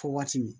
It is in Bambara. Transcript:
Fɔ waati min